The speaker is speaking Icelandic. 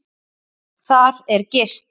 Þar er gist.